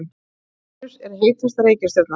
Venus er heitasta reikistjarnan.